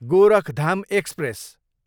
Gorakhdham express